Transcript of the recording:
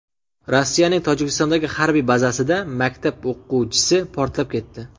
Rossiyaning Tojikistondagi harbiy bazasida maktab o‘quvchisi portlab ketdi.